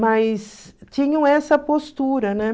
Mas tinham essa postura, né?